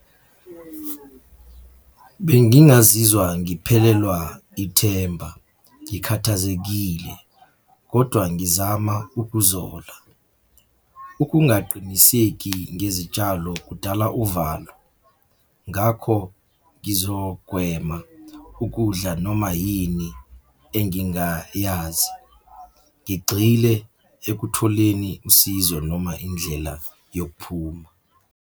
Bengingazizwa ngiphelelwa ithemba, ngikhathazekile, kodwa ngizama ukuzola. Ukungaqiniseki ngezitshalo kudala uvalo, ngakho ngizogwema ukudla noma yini engingayazi, ngigxile ekutholeni usizo noma indlela yokuphuma.